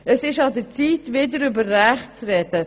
Es ist an der Zeit, wieder über Rechte zu reden.